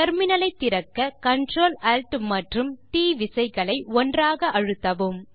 terminal ஐ திறக்க CTRL ALT மற்றும் ட் விசைகளை ஒன்றாக அழுத்தவும்